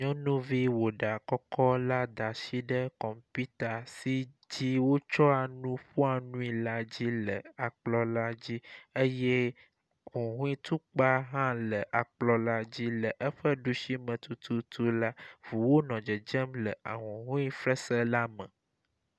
Nyɔnuvi wɔ ɖa kɔkɔ la da asi ɖe kɔmpita si dzi wotsɔa nu ƒoa nui la dzi le akplɔ la dzi eye huhɔe tukpa hã le akplɔ la dzi le eƒe ɖusi me tutu la, ŋuwo nɔ dzedzem ahuhɔe fesre la me.